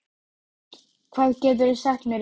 Meyvant, hvað geturðu sagt mér um veðrið?